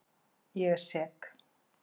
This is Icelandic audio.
Ég er sek.